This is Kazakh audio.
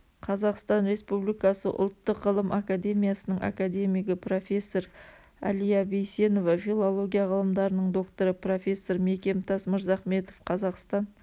қазақстан республикасы ұлттық ғылым академиясының академигі профессор әлия бейсенова филология ғылымдарының докторы профессор мекемтас мырзахметов қазақстан